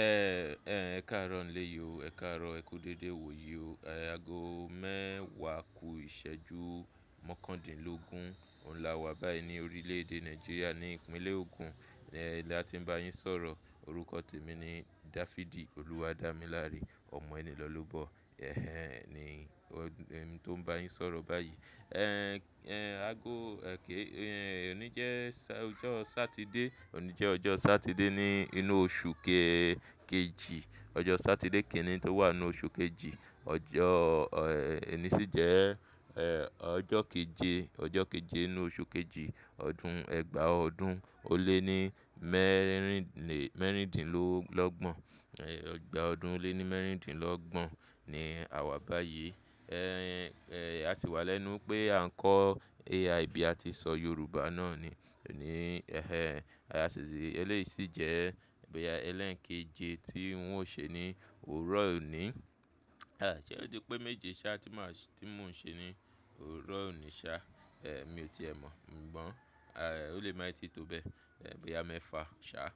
Ẹ kaaro ni ilẹ́ yi o. Ẹ kaaro ẹkú dédé iwọ̀ yo. Ago mẹwa ku ìsẹ́jú mọkandinlogun. Òun lá wà báyìí ní orílẹ̀ èdè Nàìjíríà ní Ìpínlẹ̀ Ogun. Ti àti ń bá yín sọ̀rọ̀. Orúkọ tẹ̀ mí ní Dáfídì Olúwadámiláre Ọ̀mọ̀' enìlọ́lọ́bọ̀. Ẹ̀hẹn ni ọ̀ n mí tó ń bá yín sọ̀rọ̀ báyìí. Ẹ̀hẹn, ago, ẹ ké, ọ̀ní jẹ́ ọjọ́ Satide. Òní jẹ́ ọjọ́ Satide ní inú oṣù kejì. Ọjọ́ Satide kẹ́rin tó wà nínú oṣù kejì. Ọjọ́ ọ̀ní sì jẹ́ ọjọ́ keje, ọjọ́ keje nínú oṣù kejì, ọdún ẹgbàá ọdún ó lé ní mẹ́rindinlọ́gbọ̀n. Ẹgbàá ọdún ó lé ní mẹ́rindinlọ́gbọ̀n ni àwa báyìí. Ẹ̀hẹn, àti wà lẹ́nu pé à nkọ́ AI bí a ti ṣọ Yorùbá náà ni. Ẹ̀hẹn, eléyìí sì jẹ́ ẹlẹ́ẹ̀kẹ́jì tí ń ò ṣe ní òrò ọ̀ní. Ṣé o jẹ́ pé méje sá tí mọ̀ ti mó n ṣe ní òrò ọ̀ní sá? Èmi o ti ẹ̀ mọ̀. Ǹjẹ́ ó lè má ì tí tó bẹ́ẹ̀. Boya mefà ṣá,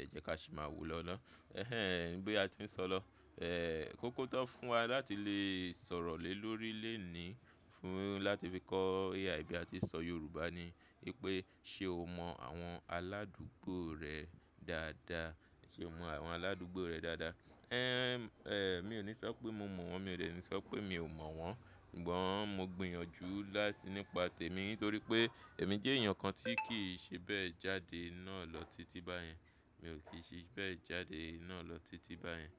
ẹ jẹ́ ká sì má wò lọ́ná. Ẹ̀hẹn, bí a ti ń sọ lọ. Ẹ kó kótọ́ fún wa láti lè sọ̀rọ̀ lé lórí lẹ́ẹ̀ ni fún láti fi kọ́ AI bí a ti ṣọ Yorùbá ni wípé ṣé o mọ àwọn aládùgbò rẹ dáadáa? Ṣé o mọ àwọn aládùgbò rẹ dáadáa? Ẹ̀hẹn, ẹ̀ mi ò ní sọ pé mo mọ̀ wọ́n. Mi ò ní sọ pé mi ò mọ̀ wọ́n. Sugbọ́n, mo gbìyànjú láti nípa tẹ̀ mí nítorí pé èmi jẹ́ èèyàn kan tí kì í ṣe bẹ́ẹ̀ jáde náà lọ títí báyẹn. Mi ò kì í ṣe bẹ́ẹ̀ jáde náà lọ títí báyẹn.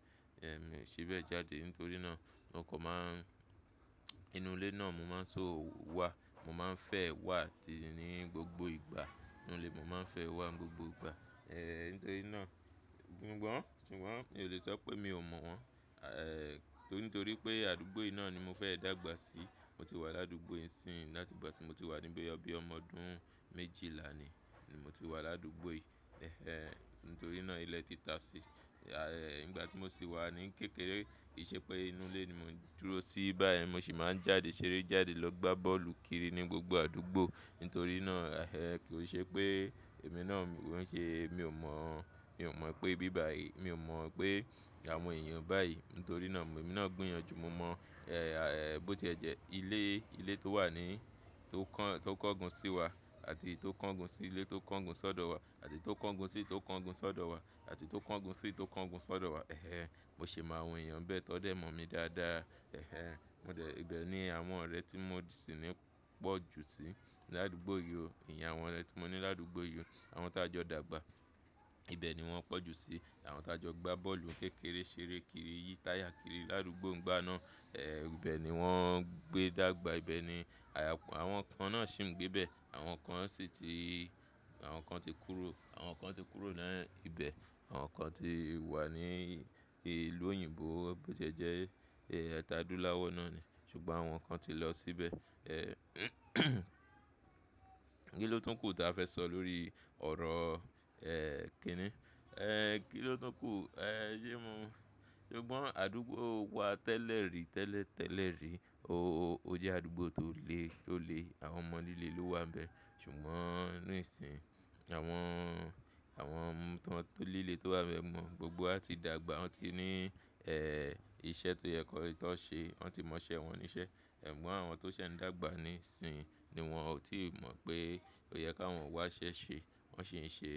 Ẹ̀ mi ò ṣe bẹ́ẹ̀ jáde. Nítorí náà mo inú ilé náà mo máa ń sọ wà. Mo máa ń fẹ́ wà tì í ní gbogbo ìgbà. Nínú ilé mo máa ń fẹ́ wà gbogbo ìgba. Ẹ nítorí náà, ṣùgbọ́n mi ò lè sọ pé mi ò mọ̀ wọ́n. Nítorí pé àdúgbò yìí náà ni mo fẹ́ dàgbà sí. Mo ti wà ládùgbò yìí sí ì ńlá ti ìgbà tí mo ti wà níbí ọ bí ọmọ ọdún méjìlá ni, ni mo ti wà ládùgbò yìí. Ẹ̀hẹn, nítorí náà ilẹ̀ ti ta sí. Ẹ ìgbà tí mo sì wà ní kékeré, ìṣe pé inú ilé ni mo dúró sí báyẹn, mo sì máa ń jáde ṣeré jáde lọ gbá bọ́ọ̀lù kiri ní gbogbo àdúgbò. Nítorí náà, ẹ̀ kò ṣe pé èmi náà ń ṣe mi ò mọ̀, mi ò mọ̀ pé bí bá yìí. Mi ò mọ̀ pé àwọn èèyàn báyìí. Nítorí náà èmi náà gbìyànjú. Mo mọ̀ ẹ̀ bó tí ẹ jẹ́ ilé, ilé tó wà ní, tó kàn, tó kángun sí wa àti tó kángun sí ilé tó kángun sọ́dọ̀ wa àti tó kángun sí tó kángun sọ́dọ̀ wa àti tó kángun sí tó kángun sọ́dọ̀ wa. Ẹ̀hẹn, mo sì máa mọ èèyàn bẹ́ẹ̀ tọ́'dẹ̀ mọ̀ mí dáadáa. Ẹ̀hẹn, mo dẹ̀ ibẹ̀ ní àwọn ọ̀rẹ́ tí mo sì ní pọ̀ jù sí. Ládugbò yìí o, ẹ̀yàn àwọn ọ̀rẹ́ tí mo ní ládùgbò yìí o, àwọn t'a jọ dàgbà. Ibẹ̀ ni wọ́n pọ̀ jù sí. Àwọn t'a jọ gbá bọ́ọ̀lù kékeré, ṣeré kiri, yí táyà kiri ládùgbò ńgbà náà. Ibẹ̀ ni wọ́n gbé dàgbà. Ibẹ̀ ni àwọn kan náà sì ń gbé bẹ́ẹ̀. Àwọn kan sì ti, àwọn kan ti kúrò. Àwọn kan ti kúrò naá nibẹ̀. Àwọn kan ti wà ní ìlú òyìnbó. Bó tí ẹ jẹ́ ẹ ta dúláwọ́ náà ni. Ṣùgbọ́n àwọn kan ti lọ síbẹ̀. Kí ló túń kù tó a fẹ́ sọ lórí ọ̀rọ̀ ẹ̀ kìní? Ẹ kí ló túń kù? Ẹ ṣé mo, ṣùgbọ́n àdúgbò wa tẹ́lẹ̀rí, tẹ́lẹ̀ tẹ́lẹ̀rí. Ó jẹ́ àdúgbò tó le, tó le. Àwọn ọmọ líle ló wà ńbẹ. Ṣùgbọ́n nísinsìnyí àwọn, àwọn to líle tó wà ńbẹ mọ̀, gbogbo a ti dàgbà. Wọ́n ti ní iṣẹ́ tó yẹ kó tó ṣe. Wọ́n ti mọṣẹ́ wọn níṣẹ́. Ẹ̀gbọn àwọn tó ṣẹ̀ ń dàgbà nísinsìnyí ni wọn ò tí ì mọ̀ pé ó yẹ káwọn wá ṣẹ́ ṣe. Wọn ṣe ń ṣe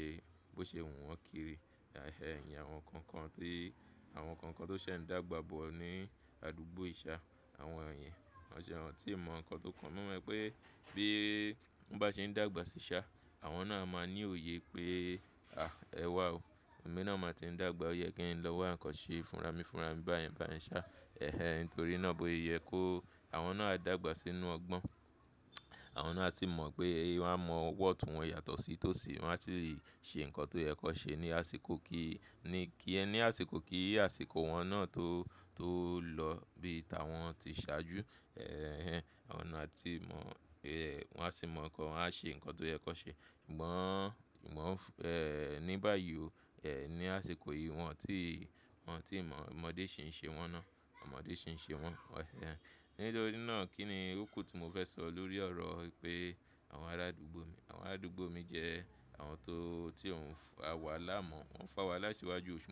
bó ṣe wùn wọn kiri. Ẹ̀hẹn, àwọn kankan tí, àwọn kankan tó ṣẹ̀ ń dàgbà bọ̀ ní àdúgbò ìṣá, àwọn ènìyàn, wọn jẹ́ àwọn tí mọ̀ ǹkan tó kàn. Mo mọ̀ pé bí wọ́n bá ṣe ń dàgbà sí iṣá, àwọn náà máa ní òye pé, à ẹwa o. Emi náà máa ti ń dàgbà. Ó yẹ kí ẹ lọ wá ǹkan ṣe fúnra mí fúnra mi báyẹn báyẹn ṣá. Ẹ̀hẹn, nítorí náà bó yẹ kó àwọn náà dàgbà sínú ọgbọ́n. Àwọn náà sì mọ̀ pé èéwá mọ wọ́tun wọn yàtọ̀ sí tòsí. Wọn á sì ṣe ǹkan tó yẹ kó ṣe ní àsìkò kí i ní kí ẹ ní àsìkò kí àsìkò wọn náà tó, tó lọ bí ìta wọn ti ṣáájú. Ẹ̀hẹn, àwọn náà sì mọ̀ pé wọ́n á sì mọ̀ ǹkan. Wọn a ṣe ǹkan tó yẹ kó ṣe. Ǹgbọ́n, ǹgbọ́n, ẹ̀ ní báyìí o, ẹ ní àsìkò yìí wọn tí, wọn tí mọ̀ ọmọdé ṣì ń ṣe wọn náà. Ọmọdé ṣì ń ṣe wọn. Ẹ̀hẹn, nítorí náà kí ni kúkú tó mo fẹ́ sọ lórí ọ̀rọ̀ pé àwọn arádùgbò mi, àwọn aládùgbò mi jẹ́ àwọn tó, tí wo o fà wahala mọ̀. Wọn ń fa wà lásìwájú.